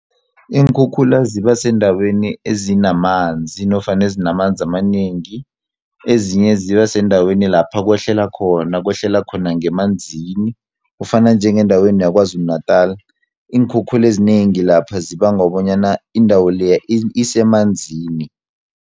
Iinkhukhula ziba sendaweni ezinamanzi, nofana ezinamanzi amanengi, ezinye ziba sendaweni lapha kwehlela khona ngemanzini. Kufana njengendaweni yaKwaZulu Natal iinkhukhule ezinengi lapha zibangwa bonyana indawo leya isemanzini.